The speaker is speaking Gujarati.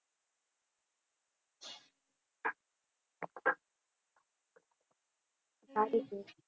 સારુ કહેવાય.